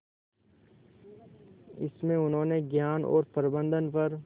इसमें उन्होंने ज्ञान और प्रबंधन पर